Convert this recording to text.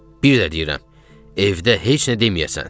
Bir də deyirəm, evdə heç nə deməyəsən.